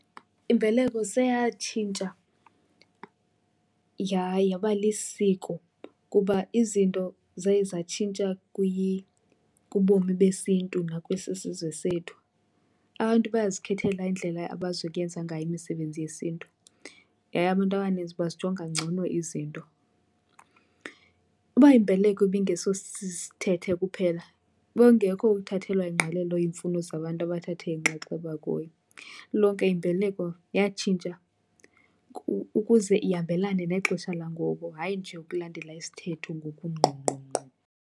Imbeleko seyatshintsha yaba lisiko kuba izinto zaye zatshintsha kubomi besiNtu nakwesi isizwe sethu. Abantu bayazikhethela indlela abazokuyenza ngayo imisebenzi yesiNtu yaye abantu abaninzi bazijonga ngcono izinto. Uba imbeleko ibingesosisithethe kuphela bekungekho ukuthathelwa ingqalelo iimfuno zabantu abathatha inxaxheba kuyo. Lilonke imbeleko yatshintsha ukuze ihambelane nexesha langoku, hayi nje ukulandela isithetho ngokungqongqongqo.